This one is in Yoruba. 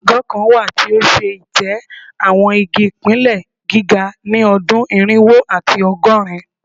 Agọ kan wa ti o ṣe itẹ awọn igi pine giga ni ọdun irinwo ati ọgọrin